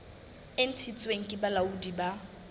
e ntshitsweng ke bolaodi bo